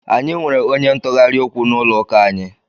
Anyị nwere onye ntụgharị okwu n'ụlọ ụka anyị.